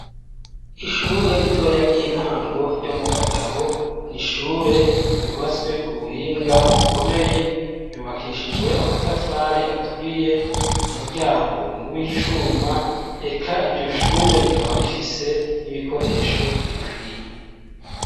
Ishure ritoya ry'intango ryo mu Gatabo ni ishure ryubatswe ku buhinga bukomeye ryubakishijwe amatafari aturiye umuryango ni uw'icuma eka iryo shure rikaba rifise n'ibikoresho bikwiye.